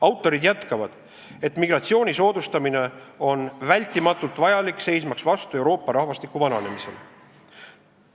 Autorid jätkavad, et migratsiooni soodustamine on vältimatult vajalik seismaks vastu Euroopa rahvastiku vananemisele.